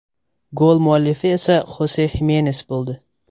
Gol muallifi esa Xose Ximenes bo‘ldi.